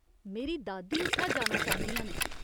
मेरी दादी उत्थै जाना चांह्दियां न।